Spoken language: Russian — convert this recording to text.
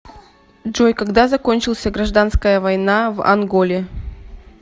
джой когда закончился гражданская война в анголе